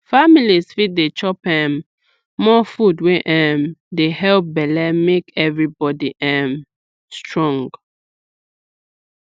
families fit dey chop um more food wey um dey help belle make everybody um strong